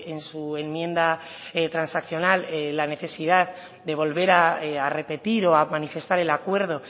en su enmienda transaccional la necesidad de volver a repetir o a manifestar el acuerdo